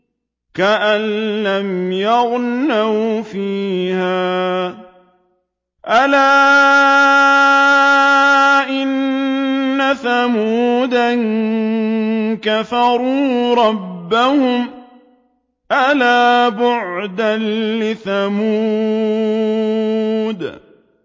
كَأَن لَّمْ يَغْنَوْا فِيهَا ۗ أَلَا إِنَّ ثَمُودَ كَفَرُوا رَبَّهُمْ ۗ أَلَا بُعْدًا لِّثَمُودَ